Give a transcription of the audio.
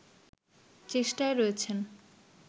চেষ্টায় রয়েছেন